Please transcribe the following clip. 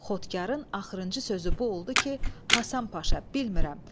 Xotkarın axırıncı sözü bu oldu ki, Həsən Paşa bilmirəm.